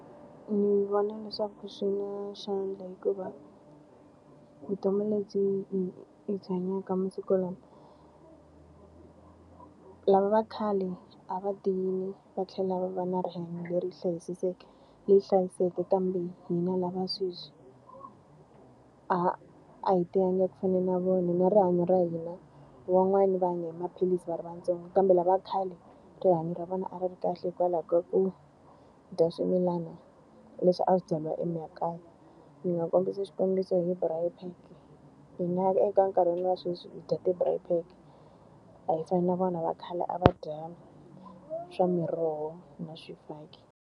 Ndzi vona leswaku swi na xandla hikuva, vutomi lebyi hi byi hanyaka masiku lawa lava va khale a va tiyile va tlhela va va na rihanyo leri leri hlayisekeke kambe hina lava sweswi, a hi tiyangi ku fana na vona. Ni rihanyo ra hina wan'wana va hanya hi maphilisi va ri vantsongo kambe lava khale rihanyo ra vona a ri ri kahle hikwalaho ka ku dya swimilana leswi a swi byariwa emakaya. Ndzi nga kombisa xikombiso hi braai pack-e hi nga eka nkarhi wa sweswi hi dya ti-braai pack, a yi fani na vona va khale a va dya swa miroho na swifaki.